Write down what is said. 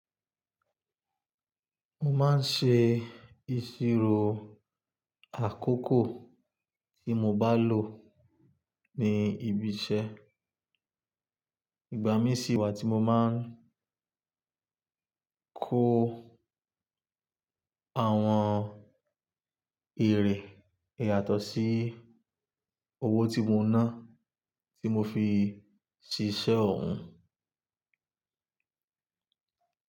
Mo máa ń ṣe ìṣirò àkókò tí mo bá lò ní ibi iṣẹ́. Ìgbà mí sì wà tí mo máa ń kó àwọn èrè yàtọ̀ sí owó tí mo ná tí mo fi ṣiṣẹ́ ọun.